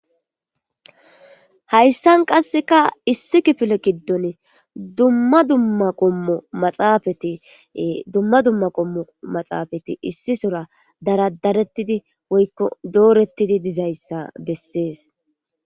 hayssan qasseka issi kifile kiddone dumma dumma qommo maxaafati dumma dumma qommo maxaafati issi sora daradarettidi woykko doorettidi dizayssa bessees